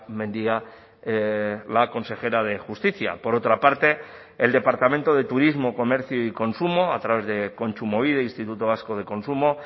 mendia la consejera de justicia por otra parte el departamento de turismo comercio y consumo a través de kontsumobide instituto vasco de consumo